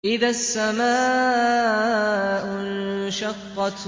إِذَا السَّمَاءُ انشَقَّتْ